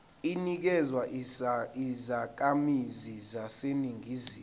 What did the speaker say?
inikezwa izakhamizi zaseningizimu